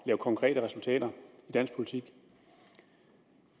lave konkrete resultater i dansk politik